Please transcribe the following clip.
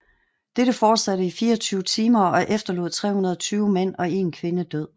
Dette fortsatte i 24 timer og efterlod 320 mænd og én kvinde død